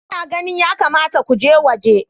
Ina ganin ya kamata ku je gwaji.